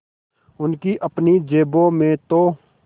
उनकी अपनी जेबों में तो